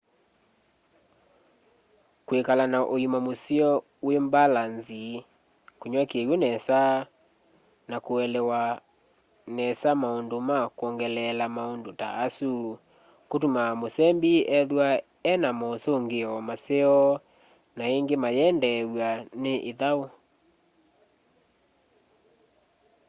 kwikala na uima museo wi mbalanzi kunywa kiw'u nesa na kuelewa nesa maundu ma kwongeleela maundu ta asu kutumaa musembi ethwa e na mosungio maseo na ingi mayendeew'a ni ithau